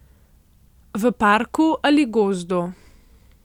V parku ali gozdu.